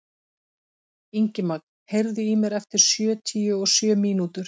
Ingimagn, heyrðu í mér eftir sjötíu og sjö mínútur.